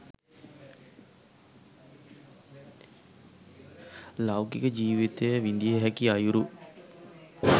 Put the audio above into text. ලෞකික ජීවිතය විඳිය හැකි අයුරු